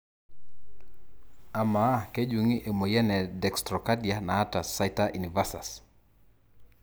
ama kejungi emoyian e dextrocardia nataa situ inversus?